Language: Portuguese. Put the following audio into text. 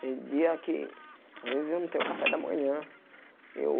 Tem dia que às vezes eu não tenho café da manhã. Eu